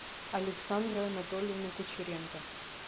александры анатольевны кучеренко